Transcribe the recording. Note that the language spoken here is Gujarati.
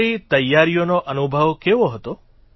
તમારી તૈયારીનો અનુભવ કેવો હતો